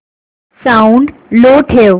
sound लो ठेव